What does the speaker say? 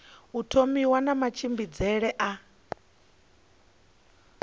u thomiwa na matshimbidzele a